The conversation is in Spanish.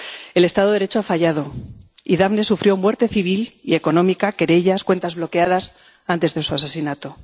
El Estado de Derecho ha fallado y Daphne sufrió muerte civil y económica, querellas, cuentas bloqueadas antes de su asesinato.